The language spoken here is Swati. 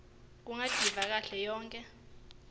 kungativa kahle yonkhe